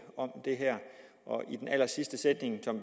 om det her og i den allersidste sætning som